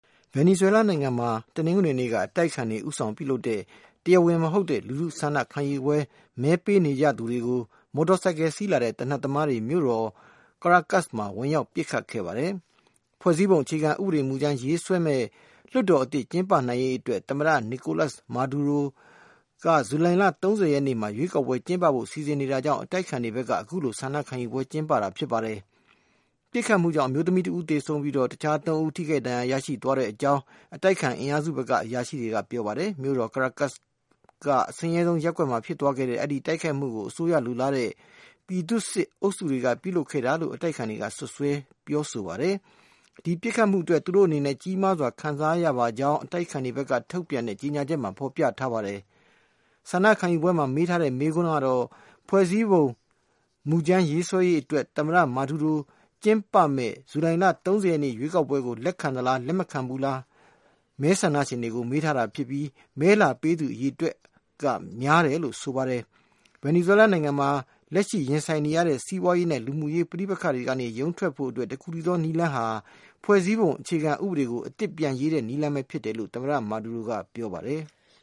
ဗင်နီဇွဲလားနိုင်ငံမှာ တနင်္ဂနွေနေ့က အတိုက်အခံတွေ ဦးဆောင်ပြုလုပ်တဲ့ တရားဝင်မဟုတ်တဲ့ လူထုဆန္ဒခံယူပွဲမှာ မဲပေးနေကြသူတွေကို မော်တော်ဆိုင်ကယ် စီးလာတဲ့ သေနတ်သမားတွေ မြို့တော် Caracas မှာ ဝင်ရောက် ပစ်ခတ်ခဲ့ပါတယ်။ ဖွဲ့စည်းပုံ အခြေခံဥပဒေမူကြမ်း ရေးဆွဲမယ့် လွှတ်တော် အသစ် ကျင်းပနိုင်ရေးအတွက် သမ္မတ Nicolas Maduro က ဇူလိုင်လ ၃၀ ရက်နေ့မှာ ရွေးကောက်ပွဲ ကျင်းပဖို့ စီစဉ်နေတာကြောင့် အတိုက်အခံတွေဘက်က အခုလို ဆန္ဒခံယူပွဲ ကျင်းပတာဖြစ်ပါတယ်။ ပစ်ခတ်မှုကြောင့် အမျိုးသမီးတဦး သေဆုံးပြီး တခြား ၃ ဦး ထိခိုက် ဒဏ်ရာရသွားကြောင်း အတိုက်အခံ အင်အားစုဘက်က အရာရှိတွေက ပြောပါတယ်။ မြို့တော် Caracas က အဆင်းရဲဆုံးအရပ်မှာ ဖြစ်သွားခဲ့တဲ့ အဲဒီ တိုက်ခိုက်မှုကို အစိုးရလိုလားတဲ့ ပြည်သူ့စစ်အုပ်စုတွေက ပြုလုပ်ခဲ့တာလို့ အတိုက်အခံတွေက စွပ်စွဲ ပြောဆိုပါတယ်။ ဒီပစ်ခတ်မှုအတွက် သူတို့အနေနဲ့ ကြီးမားစွာ ခံစားရပါကြောင်း အတိုက်အခံဘက်က ထုတ်ပြန်တဲ့ ကြေညာချက်မှာ ဖော်ပြထားပါတယ်။ ဆန္ဒခံယူပွဲမှာ မေးထားတဲ့ မေးခွန်းကတော့ - ဖွဲ့စည်းပုံ မူကြမ်းရေးဆွဲရေးအတွက် သမ္မတ မာဒူးရိုးကျင်းပမယ့် ဇူလိုင် ၃၀ ရက် ရွေးကောက်ပွဲကို လက်ခံသလား၊ မခံဘူးလားဆိုတာကို မဲဆန္ဒရှင်တွေကို မေးထားတာဖြစ်ပြီး မဲလာပေးသူ အရေအတွက်ဟာ များတယ်လို့ ဆိုပါတယ်။ ဗင်နီဇွဲလားနိုင်ငံမှာ လက်ရှိ ရင်ဆိုင်နေရတဲ့ စီးပွားရေးနဲ့ လူမှုရေး ပဋိပက္ခတွေကနေ ရုန်းထွက်ဖို့အတွက် တခုထဲသော နည်းလမ်းဟာ ဖွဲ့စည်းပုံအခြေခံဥပဒေကို အသစ်ပြန်ရေးတဲ့ နည်းလမ်းပဲဖြစ်တယ်လို့ သမ္မတ မာဒူးရိုးက ပြောပါတယ်။